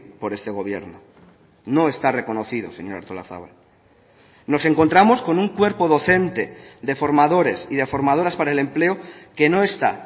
por este gobierno no está reconocido señora artolazabal nos encontramos con un cuerpo docente de formadores y de formadoras para el empleo que no está